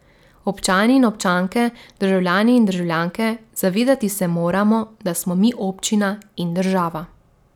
Občani in občanke, državljani in državljanke, zavedati se moramo, da smo mi občina in država.